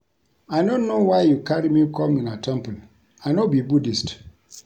I no know why you carry me come una temple I no be Buddhist